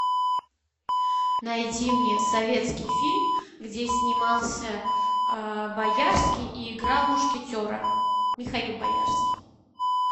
найди мне советский фильм где снимался боярский и играл мушкетера михаил боярский